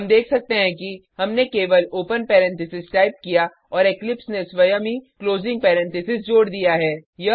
हम देख सकते हैं कि हमने केवल ओपन पेरेंथीसेस टाइप किया और इक्लिप्स ने स्वयं ही क्लोजिंग पेरेंथीसेस जोड दिया है